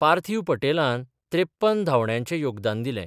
पार्थिव पटेलान त्रेप्पन धांवड्यांचे योगदान दिलें.